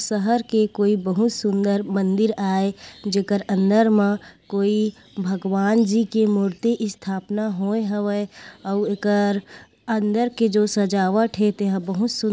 शहर के कोई बहुत सुंदर मंदिर आये जेकर अंदर मा कोई भगवान जी की मूर्ति स्थापना होये हवे अउ एकर अंदर के जो सजावट हे ते ह बहुत सु --